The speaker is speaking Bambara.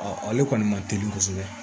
ale kɔni ma teli kosɛbɛ